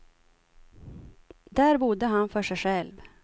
Där bodde han för sig själv.